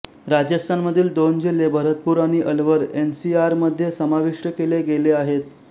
राजस्थानमधील दोन जिल्हे भरतपूर आणि अलवर एनसीआरमध्ये समाविष्ट केले गेले आहेत